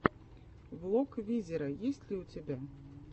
влог визера есть ли у тебя